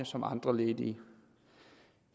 som andre ledige